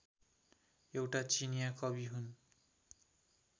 एउटा चिनियाँ कवि हुन्